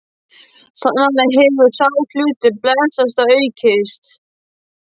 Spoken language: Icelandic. Sannarlega hefur sá hlutur blessast og aukist.